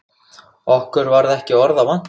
Okkur varð ekki orða vant.